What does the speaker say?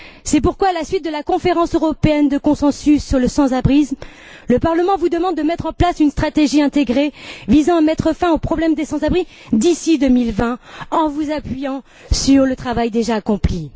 C'est pourquoi à la suite de la conférence européenne de consensus sur le sans abrisme, le Parlement vous demande de mettre en place une stratégie intégrée visant à mettre fin au problème des sans abri d'ici 2020, en vous appuyant sur le travail déjà accompli.